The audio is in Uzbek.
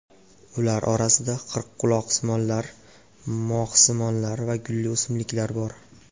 Ular orasida qirqquloqsimonlar, moxsimonlar va gulli o‘simliklar bor.